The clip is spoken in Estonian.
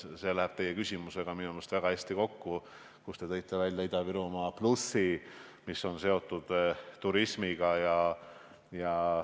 Minu meelest läheb see teie küsimusega väga hästi kokku – te tõite välja Ida-Virumaa plussi, mis on seotud turismiga.